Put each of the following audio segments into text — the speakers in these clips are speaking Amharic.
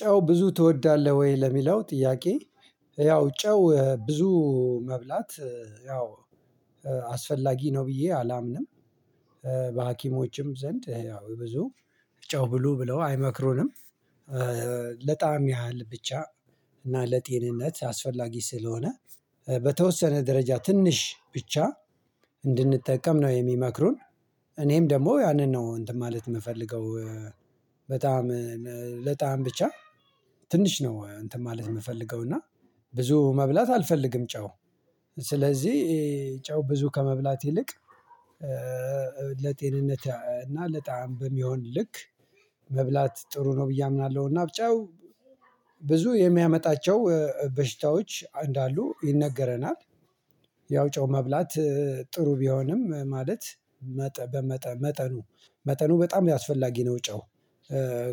"ጨው ብዙ ትወዳለህ ወይ?" ለሚለው ጥያቄ፤ ያው ጨው ብዙ መብላት ያው አስፈላጊ ነው ብዬ አላምንም። በሀኪሞችም ዘንድ ያው ብዙ ጨው ብሉ ብለው አይመክሩንም። ለጣዕም ያህል ብቻ እና ለጤንነት አስፈላጊ ስለሆነ በተወሰነ ደረጃ ትንሽ ብቻ እንድንጠቀም ነው የሚመክሩን። እኔም ደግሞ ያንን ነው እንትን ማለት የምፈልገው። በጣእም ለጣዕም ብቻ ትንሽ ነው እንትን ማለት የምፈልገው፤ እና ብዙ መብላት አልፈልግም ጨው። ስለዚህ ጨው ብዙ ከመብላት ይልቅ ለጤንነት እና ለጣዕም በሚሆን ልክ መብላት ጥሩ ነው ብዬ አምናለሁ፤ እና ብ ጫው ብዙ የሚያመጣቸው በሽታዎች እንዳሉ ይነገረናል። ያው ጨው መብላት ጥሩ ቢሆንም ማለት መጠኑ፣ መጠኑ በጣም ያስፈላጊ ነው ጨው፤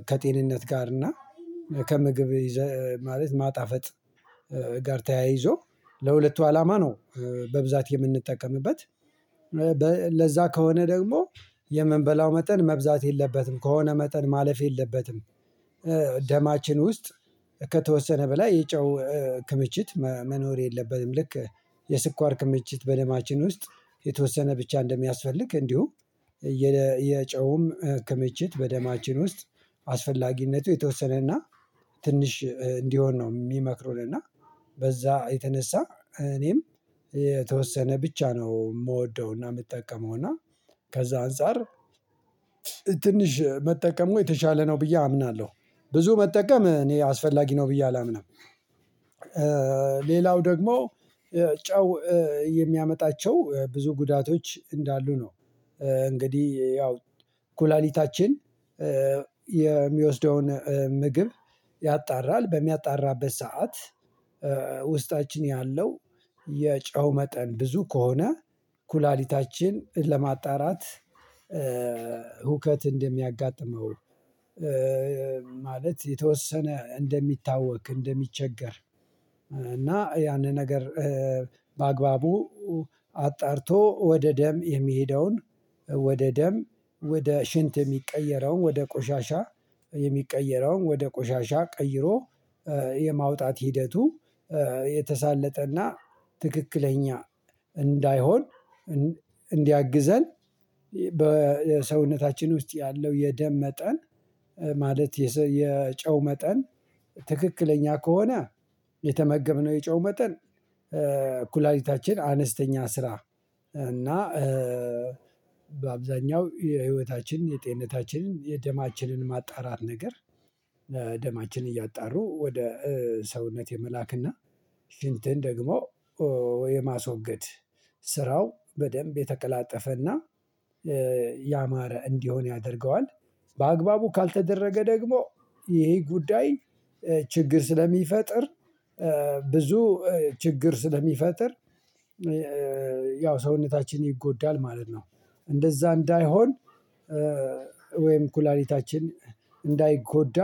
ከጤንነት ጋር እና ከምግብ ይዘ ማለት ማጣፈጥ ጋር ተያይዞ ለሁለቱ አላማ ነው በብዛት የምንጠቀምበት። ለዛ ከሆነ ደግሞ የምብላው መጠን መብዛት የለበትም፤ ከሆነ መጠን ማለፍ የለበትም። ደማችን ውስጥ ከተወሰነ በላይ የጨው ክምችት መኖር የለበትም። ልክ የስኳር ክምችት በደማችን ውስጥ የተወሰነ ብቻ እንደሚያስፈልግ እንዲሁ የጨውም ክምችት በደማችን ውስጥ አስፈላጊነቱ የተወሰነና ትንሽ እንዲሆን ነው የሚመክሩን። እና በዛ የተነሳ እኔም የተወሰነ ብቻ ነው የምወደውና የምትጠቀመው፤ እና ከዛ አንፃር ትንሽ መጠቀሙ የተሻለ ነው ብዬ አምናለሁ። ብዙ መጠቀም እኔ አስፈላጊ ነው ብዬ አላምንም። ሌላው ደግሞ ጨው የሚያመጣቸው ብዙ ጉዳቶች እንዳሉ ነው። እንግዲህ ያው ኩላሊታችን የሚወስደውን ምግብ ያጣራል፤ በሚያጣራበት ሰዓት ውስጣችን ያለው የጨው መጠን ብዙ ከሆነ ኩላሊታችን ለማጣራት ሁከት እንደሚያጋጥመው ማለት የተወሰነ እንደሚታወክ እንደሚቸገር እና ያንን ነገር በአግባቡ አጣርቶ ወደ ደም የሚሄደውን ወደ ደም፤ ወደ ሽንት የሚቀየረውን ወደ ቆሻሻ የሚቀየረውን ወደ ቆሻሻ ቀይሮ የማውጣት ሂደቱ የተሳለጠና ትክክለኛ እንዳይሆን እንድ እንዲያግዘን በሰውነታችን ውስጥ ያለው የደም መጠን ማለት የጨው መጠን ትክክለኛ ከሆነ የተመገብነው የጨው መጠን ኩላሊታችን አነስተኛ ስራ እና በአብዛኛው የህይወታችን የጤንነታችን የደማችንን ማጣራት ነገር ደማችን እያጣሩ ወደ ሰውነት የመላክና ሽንትን ደግሞ የማስወገድ ስራው በደንብ የተቀላጠፈና ያማረ እንዲሆን ያደርገዋል። በአግባቡ ካልተደረገ ደግሞ ይሄ ጉዳይ ችግር ስለሚፈጥር ብዙ ችግር ስለሚፈጥር ያው ሰውነታችን ይጎዳል ማለት ነው። እንደዛ እንዳይሆን ወይም ኩላሊታችን እንዳይጎዳ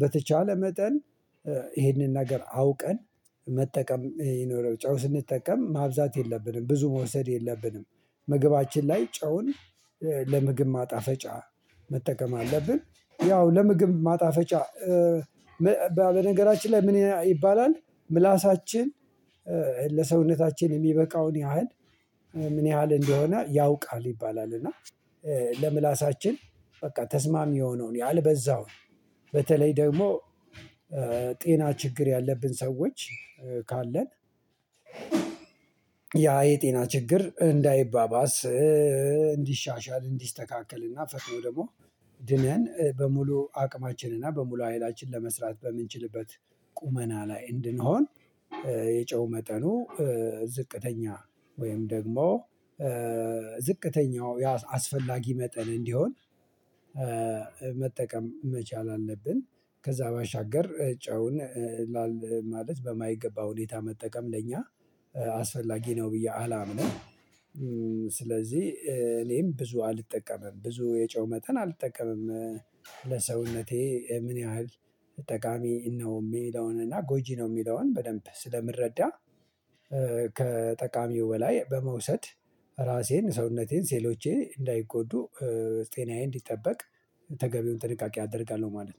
በተቻለ መጠን ይሄንን ነገር አውቀን መጠቀም ይኖረው ጨው ስንጠቀም ማብዛት የለብንም ብዙ መውሰድ የለብንም። ምግባችን ላይ ጨውን ለምግብ ማጣፈጫ መጠቀም አለብን። ያው ለምግብ ማጣፈጫ በነገራችን ላይ ምን ይባላል ምላሳችን ለሰውነታችን የሚበቃውን ያህል ምን ያህል እንደሆነ ያውቃል ይባላል፤ እና ለምላሳችን በቃ ተስማሚ የሆነውን ያልበዛውን በተለይ ደግሞ ጤና ችግር ያለብን ሰዎች ካለን ያ የጤና ችግር እንዳይባባስ፣ እንዲሻሻል፣ እንዲስተካከል እና ፈጥኖ ደግሞ ድነን በሙሉ አቅማችን እና በሙሉ ሃይላችን ለመስራት በምንችልበት ቁመና ላይ እንድንሆን የጨው መጠኑ ዝቅተኛ ወይም ደግሞ ዝቅተኛው አስፈላጊ መጠን እንዲሆን መጠቀም መቻል አለብን። ከዛ ባሻገር ጨውን ማለት በማይገባ ሁኔታ መጠቀም ለእኛ አስፈላጊ ነው ብዬ አላምንም። ስለዚህ እኔም ብዙ አልጠቀምም ብዙ የጨው መጠን አልጠቀምም። ለሰውነቴ ምን ያህል ጠቃሚ ነው የሚለውን እና ጎጂ ነው የሚለውን በደንብ ስለምረዳ ከጠቃሚው በላይ በመውሰድ ራሴን ሰውነቴን ሴሎቼን እንዳይጎዱ ጤናዬን እንዲጠበቅ ተገቢውን ጥንቃቄ አደርጋለሁ ማለት ነው።